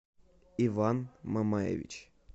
иван мамаевич